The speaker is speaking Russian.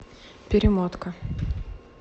перемотка